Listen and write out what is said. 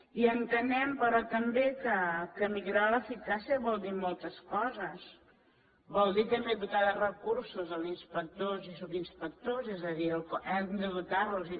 i entenem però també que millorar l’eficàcia vol dir moltes coses vol dir també dotar de recursos els inspectors i subinspectors és a dir hem de dotar losen